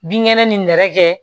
Binkɛnɛ ni nɛrɛ kɛ